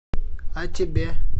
а тебе